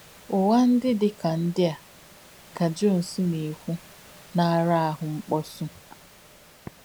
‘Ụ́ghà ndí dí dí kà ndí à,’ kà Jònès nà-èkwú, ‘nà-àrà àhù ǹkpùsí.’